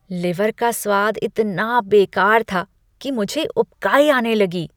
Liver का स्वाद इतना बेकार था कि मुझे उबकाई आने लगी।